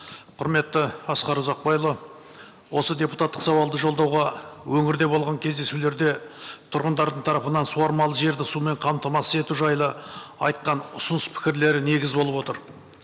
құрметті асқар ұзақбайұлы осы депутаттық сауалды жолдауға өңірде болған кездесулерде тұрғындардың тарапынан суармалы жерді сумен қамтамасыз ету жайлы айтқан ұсыныс пікірлері негіз болып отыр